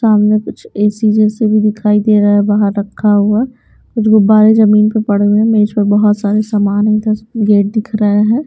सामने कुछ ए_सी जैसे भी दिखाई दे रहा है बाहर रखा हुआ कुछ गुबारे जमीन पर पड़े हुए हैं मेज पर बहुत सारे सामान है गेट दिख रहे हैं।